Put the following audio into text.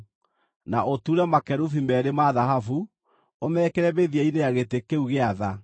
Na ũture makerubi meerĩ ma thahabu, ũmekĩre mĩthia-inĩ ya gĩtĩ kĩu gĩa tha.